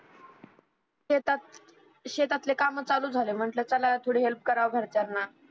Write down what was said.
शेतात शेतातले काम चालू झाले म्हटल चला थोडी हेल्प कारव घरच्याना